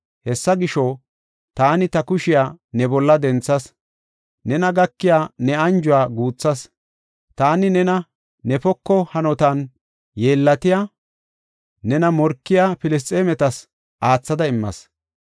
Hessa gisho, taani ta kushiya ne bolla denthas; nena gakiya ne anjuwa guuthas. Taani nena ne poko hanotan yeellatiya, nena morkiya Filisxeemetas aathada immas.